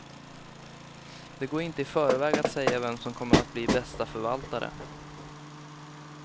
Det går inte i förväg att säga vem som kommer att bli bästa förvaltare.